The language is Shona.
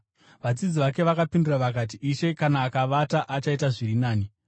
Vadzidzi vake vakapindura vakati, “Ishe, kana akavata, achaita zviri nani.”